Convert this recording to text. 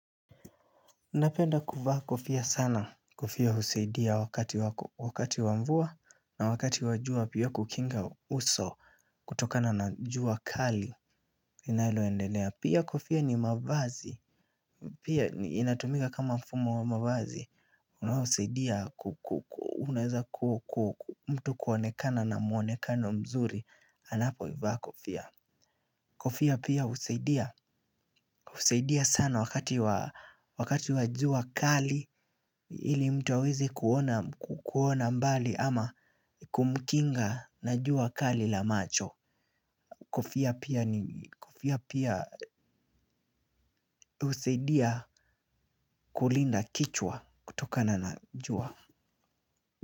Napenda kuvaa kofia sana kofia husaidia wakati wakati wa mvua na wakati wa jua pia kukinga uso kutokana na jua kali linaloendelea pia kofia ni mavazi. Pia inatumika kama mfumo wa mavazi. Unaosaidia unaweza kuwa mtu kuonekana na mwonekano mzuri anapoivaa kofia. Kofia pia husaidia husaidia sana wakati wa jua kali ili mtu aweze kuona mbali ama kumkinga na jua kali la macho. Kofia pia husaidia kulinda kichwa kutokana na jua.